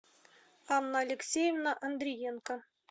анна алексеевна андреенко